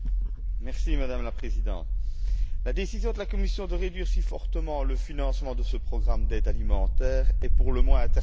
Madame la Présidente, la décision de la Commission de réduire aussi fortement le financement de ce programme d'aide alimentaire est pour le moins interpellant.